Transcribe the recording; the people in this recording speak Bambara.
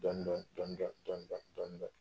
Dɔɔnin-dɔɔnin dɔɔnin-dɔɔnin dɔɔnin-dɔɔnin dɔɔnin-dɔɔnin